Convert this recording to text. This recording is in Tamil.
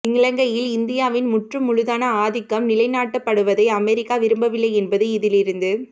இலங்கையில் இந்தியாவின் முற்று முழுதான ஆதிக்கம் நிலை நாட்டப்படுவதை அமெரிக்கா விரும்பவில்லை என்பது இதிலிருந்து